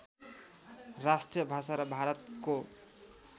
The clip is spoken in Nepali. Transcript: राष्ट्रिय भाषा र भारतको